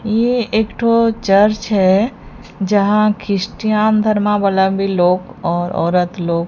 ये एक तो चर्च है जहां क्रिस्टियन धर्मा वाला भी लोग और औरत लोग--